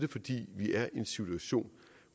fordi vi er i en situation